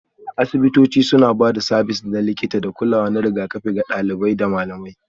Asibitoci suna ba da sabis na likita da kulawa na rigakafi ga ɗalibai da malamai